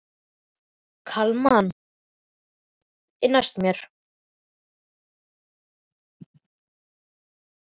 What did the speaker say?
Kalman, hvaða stoppistöð er næst mér?